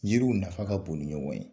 Yiriw nafa ka bon ni ye ɲɔgɔn ye